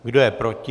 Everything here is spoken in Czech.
Kdo je proti?